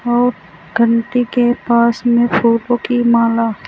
वो घंटी के पास में फूलों की माला--